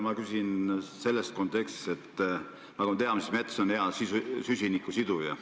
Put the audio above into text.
Ma küsin selles kontekstis, et nagu me teame, siis mets on hea süsiniku siduja.